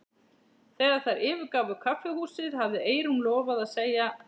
Þegar þær yfirgáfu kaffihúsið hafði Eyrún lofað að segja